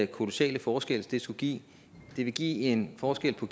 kolossale forskel det skulle give det vil give en forskel på